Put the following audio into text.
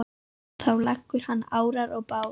Þá leggur hann árar í bát.